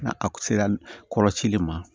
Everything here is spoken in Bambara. Na a kun sera kɔrɔcili ma